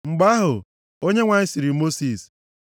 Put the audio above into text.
Mgbe ahụ, Onyenwe anyị sịrị Mosis,